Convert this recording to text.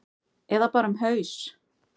Eða bara um haus?